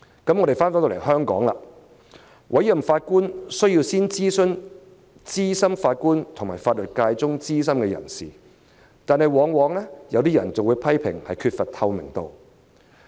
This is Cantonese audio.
至於香港，委任法官前需要先諮詢資深法官和法律界中的資深人士，有些人會批評當中缺乏透明度。